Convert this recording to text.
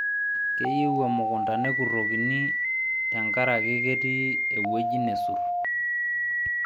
Keyieu emukunta nekurokini tekaraki ketii ewueji nesurr